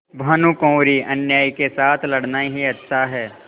भानुकुँवरिअन्यायी के साथ लड़ना ही अच्छा है